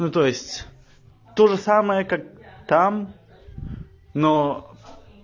ну то есть тоже самое как там но ээ